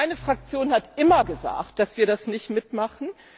Meine Fraktion hat immer gesagt, dass wir das nicht mitmachen.